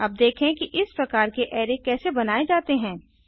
अब देखें कि इस प्रकार के अराय कैसे बनाये जाते हैं